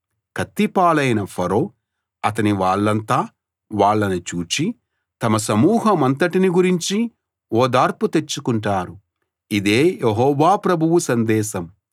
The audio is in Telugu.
కత్తి పాలైన ఫరో అతని వాళ్ళంతా వాళ్ళను చూచి తమ సమూహమంతటిని గురించి ఓదార్పు తెచ్చుకుంటారు ఇదే యెహోవా ప్రభువు సందేశం